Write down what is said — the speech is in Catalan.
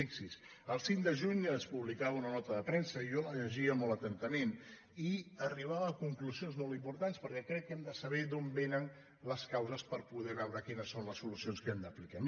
fixi’s el cinc de juny es pu·blicava una nota de premsa i jo la llegia molt atenta·ment i arribava a conclusions molt importants perquè crec que hem de saber d’on vénen les causes per poder veure quines són les solucions que hem d’aplicar